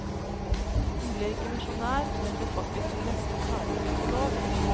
Hun ble ikke misjonær, men ble faktisk nesten ferdig psykolog.